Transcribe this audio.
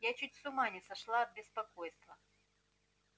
я чуть с ума не сошла от беспокойства